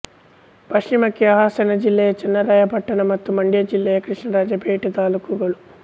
ಪಶ್ಚಿಮಕ್ಕೆ ಹಾಸನ ಜಿಲ್ಲೆಯ ಚನ್ನರಾಯಪಟ್ಟಣ ಮತ್ತು ಮಂಡ್ಯ ಜಿಲ್ಲೆಯ ಕೃಷ್ಣರಾಜಪೇಟೆ ತಾಲ್ಲೂಕುಗಳು